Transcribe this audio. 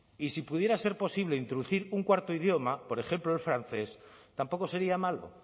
y si pudiera ser posible introducir un cuarto idioma por ejemplo el francés tampoco sería malo